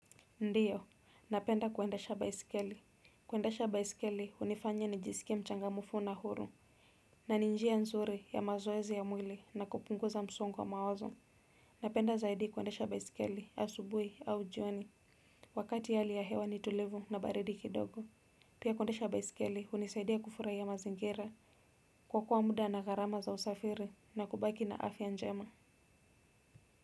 Ndiyo napenda kuendesha baiskeli. Kuendesha baisikeli, unifanya nijisike mchanga mufu na huru. Na ninjia nzuri ya mazoezi ya mwili na kupunguza msongo wa mawazo. Napenda zaidi kuwendesha baisikeli ya subuhi au jioni. Wakati hali ya hewa ni tulivu na baridi kidogo. Pia kuendesha baisikeli, unisaidia kufurai ya mazingira. Kuokoa muda na garama za usafiri na kubaki na afya njema.